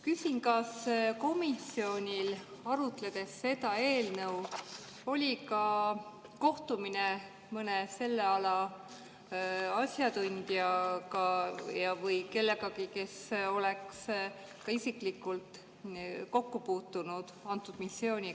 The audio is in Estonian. Küsin, kas komisjonil oli seda eelnõu arutades ka kohtumine mõne selle ala asjatundjaga või kellegagi, kes oleks isiklikult kokku puutunud antud missiooniga.